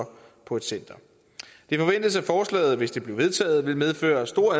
på et center det forventes at forslaget hvis det bliver vedtaget vil medføre store